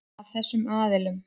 Af þessum aðilum.